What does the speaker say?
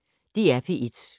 DR P1